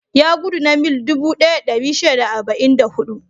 Ya gudu na mil dubu ɗaya da ɗari shida da arba'in da huɗu.